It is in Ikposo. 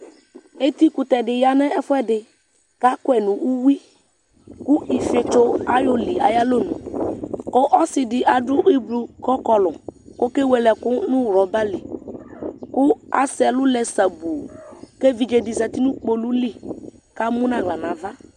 Eti kʋtɛ di ya nʋ ɛfuɛdi kʋ akɔ yi nʋ uwi kʋ ifietso ayɔ li ayalɔ nʋ kʋ ɔsi di adʋ ʋblʋɔ kʋ ɔkɔlʋ kʋ okewele ɛkʋ nʋ rɔba li kʋ asɛ ɛlʋ lɛ sabuu kʋ evidze di za nʋ kpolʋ li kʋ emu nʋ aɣla nava